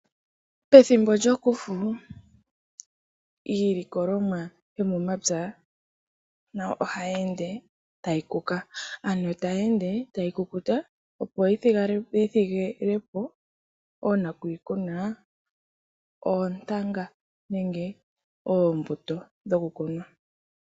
Pethimbo lyokufu iilikolomwa yomomapya nayo ohayi ende tayi kuka ano tayi ende tayi kukuta, opo yithigilepo oonakuyikuna oontanga nenge oombuto dhokukunwa.